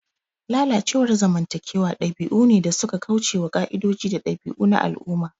Lalacewar zamantakewa dabi'u ne da suka kauce wa ƙa'idoji da dabi'u na al'umma.